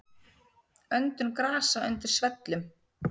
Öndun grasa undir svellum.